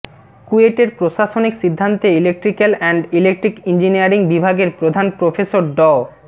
কুয়েটের প্রশাসনিক সিদ্ধান্তে electrical and electric engineering বিভাগের প্রধান প্রফেসর ড